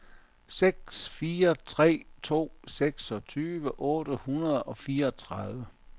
seks fire tre to seksogtyve otte hundrede og fireogtredive